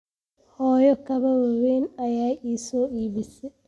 Hooyo kabo waaweyn ayay ii soo iibisay